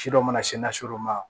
Ci dɔ mana se ma